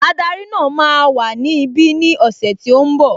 Ádárì náà máa wà ní ibi ní ọ̀sẹ̀ tí ó ń bọ̀